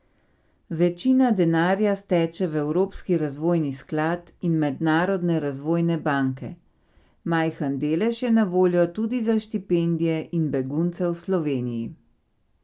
Večina denarja steče v evropski razvojni sklad in mednarodne razvojne banke, majhen delež je na voljo tudi za štipendije in begunce v Sloveniji.